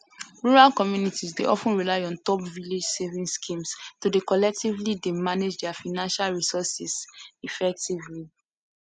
rural communities dey of ten rely on top village savings schemes to dey collectively dey manage their financial resources effectively